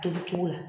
Tobicogo la